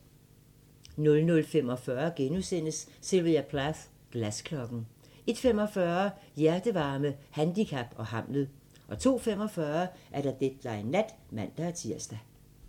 00:45: Sylvia Plath - Glasklokken * 01:45: Hjertevarme, handicap og Hamlet 02:45: Deadline Nat (man-tir)